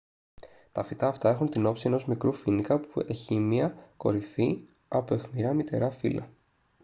τα φυτά αυτά έχουν την όψη ενός μικρού φοίνικα που έχειμια κορυφή από αιχμηρά μυτερά φύλλα